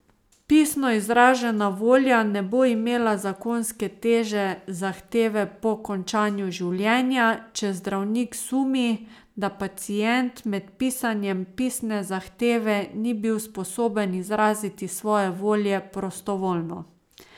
Pisno izražena volja ne bo imela zakonske teže zahteve po končanju življenja, če zdravnik sumi, da pacient med pisanjem pisne zahteve ni bil sposoben izraziti svoje volje prostovoljno.